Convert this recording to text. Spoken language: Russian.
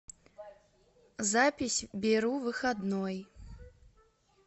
запись беру выходной